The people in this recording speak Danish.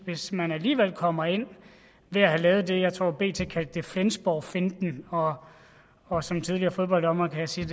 hvis man alligevel kommer ind ved at lave det som jeg tror bt kaldte flensborgfinten og og som tidligere fodbolddommer kan jeg sige